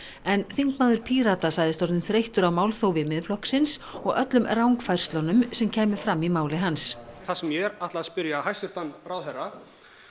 en þingmaður Pírata sagðist orðinn þreyttur á málþófi Miðflokksins og öllum rangfærslunum sem kæmu fram í máli hans það sem ég ætla að spyrja hæstvirtan ráðherra